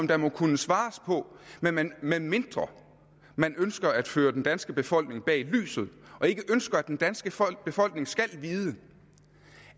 der må kunne svares på medmindre man ønsker at føre den danske befolkning bag lyset og ikke ønsker at den danske befolkning skal vide